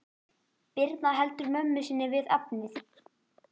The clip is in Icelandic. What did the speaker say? Birna heldur mömmu sinni við efnið.